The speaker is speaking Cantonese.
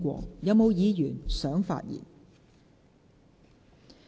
是否有議員想發言？